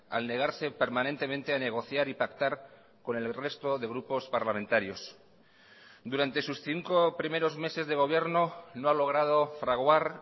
al negarse permanentemente a negociar y pactar con el resto de grupos parlamentarios durante sus cinco primeros meses de gobierno no ha logrado fraguar